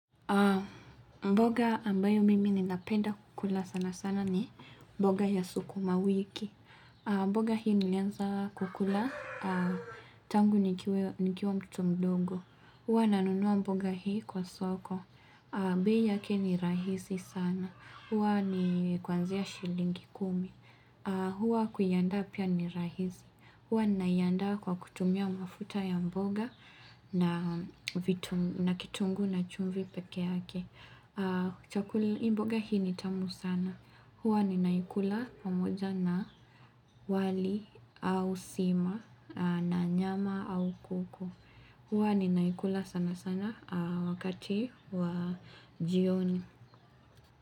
Mboga ambayo mimi ninapenda kula sana sana ni mboga ya suku mawiki. Mboga hii nilianza kukula tangu nikiwa mtoto mdogo. Huwa nanunua mboga hii kwa soko. Bei yake ni rahisi sana. Huwa ni kuanzia shilingi kumi. Huwa kuiandaa pia ni rahisi. Huwa nina iandaa kwa kutumia mafuta ya mboga na kitunguu na chumvi peke yake. Kuchakuli mboga hii ni tamu sana. Huwa ninaikula pamoja na wali au sima na nyama au kuku. Huwa ninaikula sana sana wakati wa jioni.